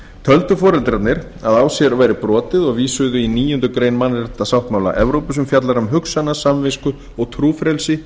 töldu foreldrarnir að á sér væri brotið og vísuðu í níundu grein mannréttindasáttmála evrópu sem fjallar um hugsana samvisku og trúfrelsi